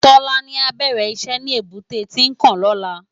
Tolani á bèrè iṣè ni ébùté Tinkán lòlá